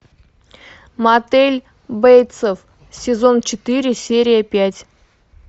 мотель бейтсов сезон четыре серия пять